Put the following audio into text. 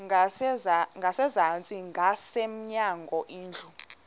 ngasezantsi ngasemnyango indlu